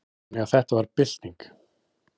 Þannig að þetta var bylting.